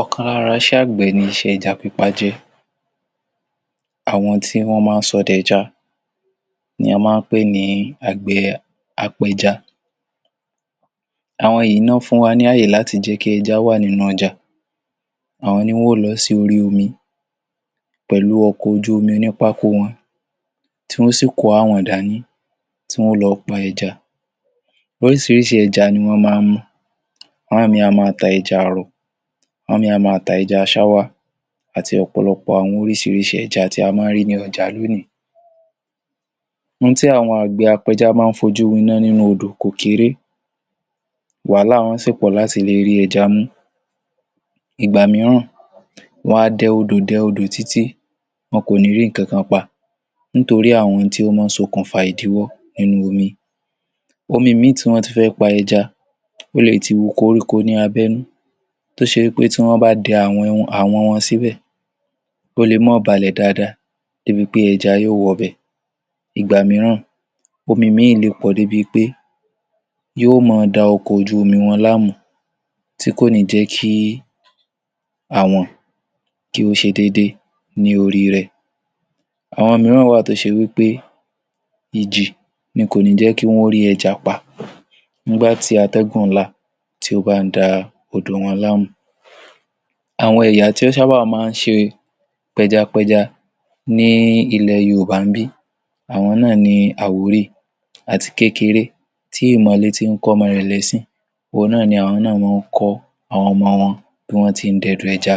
Ọ̀kan lára iṣẹ́ àgbẹ̀ ni iṣẹ́ ẹja pípa jẹ́. Àwọn tí wọ́n máa ń sọdẹ ẹja ni a máa ń pè ní àgbẹ̀ apẹja. Àwọn yìí ná fún wa ní ààyè láti jẹ́ kí ẹja wà nínú ọjà, àwọn ni wọn ó lọ sí orí omi, pẹ̀lú ọkọ̀ ojú omi onípákó wọn, tí wọn ó sì kó àwọ̀n dání, tí wọ́n ó lọ pa ẹja. Oríṣìíríṣìí ẹja ni wọ́n máa ń mú, àwọn míì a máa ta ẹja àrọ̀, àwọn míì a máa ta ẹja ṣáwá, àti ọ̀pọ̀lọpọ̀ àwọn oríṣìíríṣìí ẹja tí a máa ń rí ní ọjà lónìí. N tí àwọn àgbẹ̀ apẹja máa ń fojú winá nínú odò kò kéré, wàhálà wọn sì pọ̀ láti le rí ẹja mú. Ìgbà mìíràn, wọ́n á dẹ odò dẹ odò títí wọn kò ní rí nǹkan kan pa nítorí àwọn ohun ti ó máa ń ṣokùnfà ìdíwọ́ nínú omi. Omi míì tí wọ́n ti fẹ́ pa ẹja, ó le ti hu koríko ní abẹ́nú tó ṣe wí pé tí wọ́n bá dẹ àwọ̀n iwọn, àwọ̀n wọn síbẹ̀, ó le mọ́ balẹ̀ dáadáa débi pé ẹja yóò wọbẹ̀. Ìgbà mìíràn, omi míì le pọ̀ débi pé yóò mọ da ọkọ̀ ojú omi wọn láàmú tí kò ní jẹ́ kí àwọ̀n kí ó ṣe déédé ní orí rẹ̀. Àwọn mìíràn wà tí ó ṣe wí pé ìjì ni kò ní jẹ́ kí wọ́n ó rí ẹja pa nígbà tí àtẹ̀gùn ńlá tí ó bá ń da odò wọn láàmú. Àwọn ẹ̀yà tí ó sábà máa ń ṣe pẹjapẹja ní ilẹ̀ Yoòbá ńbí, àwọn náà ni Àwórì. Àti kékeré tí ìmọ̀le ti ń kọ́ ọmọ rẹ̀ lẹ́sìn òhun náà ni àwọn náà mọ ń kọ́ àwọn ọmọ wọn bí wọ́n ti ń dẹdò ẹja.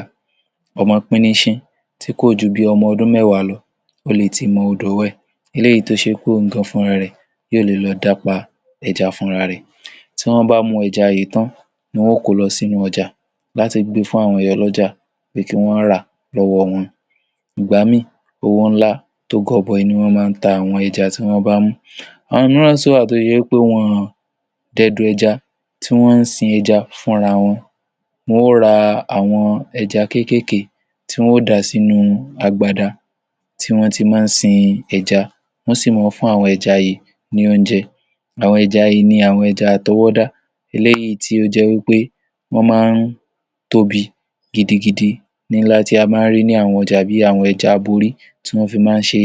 Ọmọ pínnínṣín tí kò ju bíi ọmọ ọdún mẹ́wàá lọ, ó le ti mọ odòó wẹ̀ eléyìí tó ṣe pé òun gan-an fúnra rẹ̀ yóò le lọ dá pa ẹja fúnra rẹ̀. Tí wọ́n bá mú ẹja yìí tán, wọn ó kó o lọ sínú ọjà láti gbé fún àwọn ìyá ọlọ́jà pé kí wọ́n rà á lọ́wọ́ wọn. Ìgbà míì owó ńlá tó gọbọi ni wọ́n máa ń ta àwọn ẹja tí wọ́n bá mú. Àwọn míì náà sì wà tó ṣe wí pé wọn ọ̀n dẹdò ẹja tí wọ́n ń sin ẹja fúnra wọn, wọn ó ra àwọn ẹja kéékèèké tí wọn ó dà á sínú agbada tí wọ́n ti máa ń sin ẹja, wọ́n sì mọ ń fún àwọn ẹja yìí ní oúnjẹ. Àwọn ẹja yìí ni àwọn ẹja àtọwọ́dá eléyìí tí ó jẹ́ wí pé wọ́n máa ń tóbi gidigidi nílá tí a máa ń rí ní àwọn ọjà bí àwọn ẹja aborí tí wọ́n fi máa ń ṣe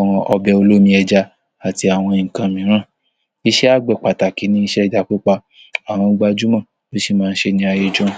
um ọbẹ̀ olómi ẹja àti àwọn nǹkan mìíràn, iṣẹ́ àgbẹ̀ pàtàkì ni iṣẹ́ ẹja pípa, àwọn gbajúmọ̀ ló sì máa ń ṣe é ní ayé ijọ́hun.